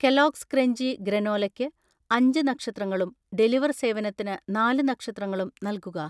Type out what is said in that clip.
Kellogg's crunchy ഗ്രനോലക്ക് അഞ്ച് നക്ഷത്രങ്ങളും ഡെലിവർ സേവനത്തിന് നാല് നക്ഷത്രങ്ങളും നൽകുക